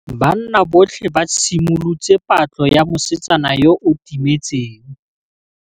Banna botlhê ba simolotse patlô ya mosetsana yo o timetseng.